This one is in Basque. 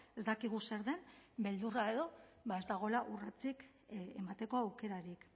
ez dakigu zer den beldurra edo ez dagoela urratsik emateko aukerarik